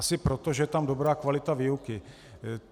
Asi proto, že je tam dobrá kvalita výuky.